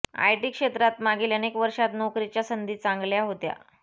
IT क्षेत्रात मागील अनेक वर्षात नोकरीच्या संधी चांगल्या होत्या